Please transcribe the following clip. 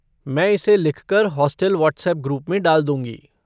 मैं इसे लिख कर हॉस्टल व्हाट्सएप ग्रुप में डाल दूँगी।